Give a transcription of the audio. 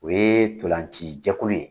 O ye tolanci jɛkulu ye